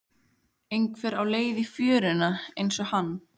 Einhver á leið í fjöruna einsog hann.